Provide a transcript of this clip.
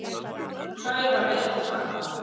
Hræra vel saman.